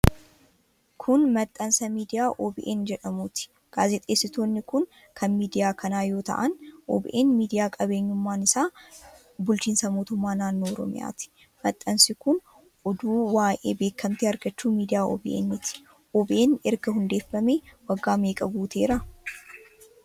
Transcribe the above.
Kun, maxxansa miidiyaa OBN jedhamuuti. Gaazexeessitoonni kun, kan miidiyaa kanaa yoo ta'an ,OBN miidiyaa qabeenyummaan isaa kan bulchiinsa mootummaa naannoo Oromiyaati. Maxxansi kun, oduu waa'ee beekamtii argachuu miidiyaa OBN ti. OBN erga hundeeffame waggaa meeqa guuteera?